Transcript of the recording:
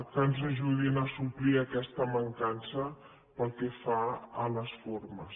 que ens ajudin a suplir aquesta mancança pel que fa a les formes